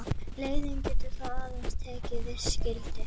Leiðnin getur þá aðeins tekið viss gildi.